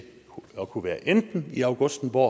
at kunne være enten i augustenborg